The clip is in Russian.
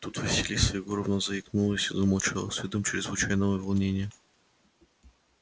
тут василиса егоровна заикнулась и замолчала с видом чрезвычайного волнения